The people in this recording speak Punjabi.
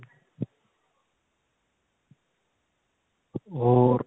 ਹੋਰ